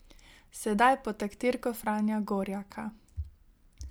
Sedaj pod taktirko Franja Gorjaka.